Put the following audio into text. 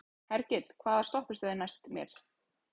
Hergill, hvaða stoppistöð er næst mér?